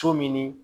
So min